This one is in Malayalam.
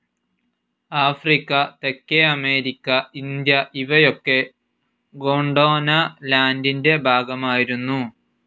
ആഫ്രിക്ക, തെക്കേ അമേരിക്ക, ഇന്ത്യ ഇവയൊക്കെ ഗോണ്ട്വാന ലാൻഡിൻ്റെ ഭാഗമായിരുന്നു.